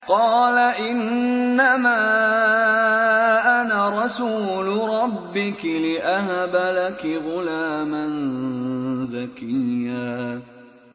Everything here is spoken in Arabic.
قَالَ إِنَّمَا أَنَا رَسُولُ رَبِّكِ لِأَهَبَ لَكِ غُلَامًا زَكِيًّا